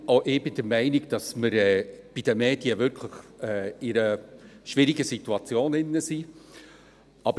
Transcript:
Auch ich bin der Meinung, dass wir uns bei den Medien wirklich in einer schwierigen Situation befinden.